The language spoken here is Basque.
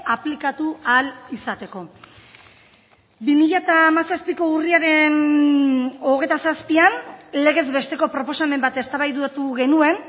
aplikatu ahal izateko bi mila hamazazpiko urriaren hogeita zazpian legez besteko proposamen bat eztabaidatu genuen